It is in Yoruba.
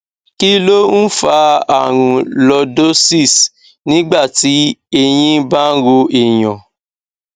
kí ló ń fa àrùn lordosis nígbà tí ẹyìn bá ń ro èèyàn